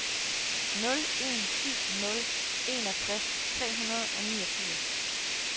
nul en syv nul enogtres tre hundrede og niogfirs